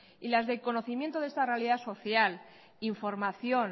y las del conocimiento de esta realidad social información